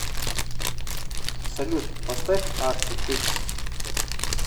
салют поставь арти фикс